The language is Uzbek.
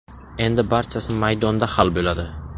Endi barchasi maydonda hal bo‘ladi.